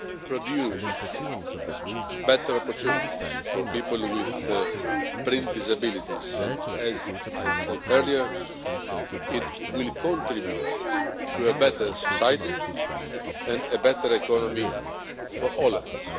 produce better opportunities for people with print disabilities and, as I said earlier, it will contribute to a better society and a better economy for all of us.